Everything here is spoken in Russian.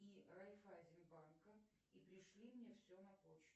и райффайзенбанка и пришли мне все на почту